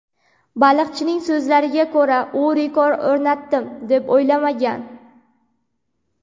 Baliqchining so‘zlariga ko‘ra, u rekord o‘rnatdim, deb o‘ylamagan.